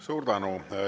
Suur tänu!